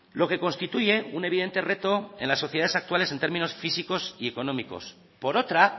lo que constituye un evidente reto en las sociedades actuales en términos físicos y económicos por otra